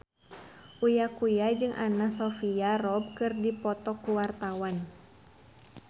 Uya Kuya jeung Anna Sophia Robb keur dipoto ku wartawan